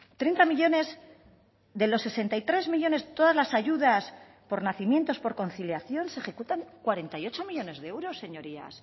treinta millónes de los sesenta y tres millónes todas las ayudas por nacimientos por conciliación se ejecutan cuarenta y ocho millónes de euros señorías